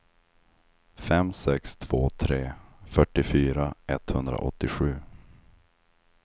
fem sex två tre fyrtiofyra etthundraåttiosju